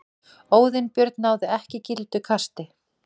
Óðinn Björn náði ekki gildu kasti